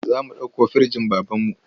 Za mu ɗauko firinjin babanmu.